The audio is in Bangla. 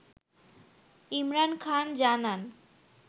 ইমরান খান জানান